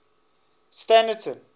standerton